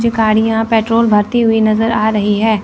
कुछ गाड़ियां पेट्रोल भर्ती हुई नजर आ रही है।